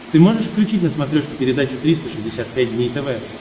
ты можешь включить на смотрешке передачу триста шестьдесят пять дней тв